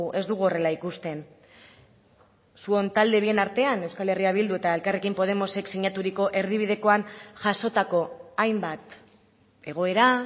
ez dugu horrela ikusten zuen talde bien artean euskal herria bildu eta elkarrekin podemosek sinaturiko erdibidekoan jasotako hainbat egoera